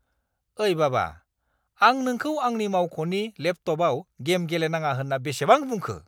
ओइ बाबा, आं नोंखौ आंनि मावख'नि लेपटपआव गेम गेलेनाङा होनना बेसेबां बुंखो?